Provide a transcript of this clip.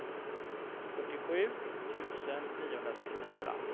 fyrtiosju tusen niohundrasextiofyra